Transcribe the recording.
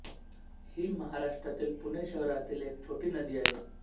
ही महाराष्ट्रातील पुणे शहरातील एक छोटी नदी आहे